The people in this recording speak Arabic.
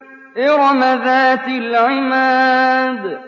إِرَمَ ذَاتِ الْعِمَادِ